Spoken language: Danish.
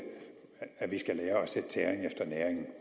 sætte tæring efter næring